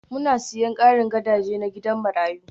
Muna sayen karin gadaje na gidan marayu